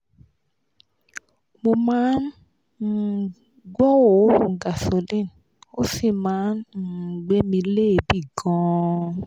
mo ma um n gbo oorun gasoline o si ma n um gbe mi leebi gan-an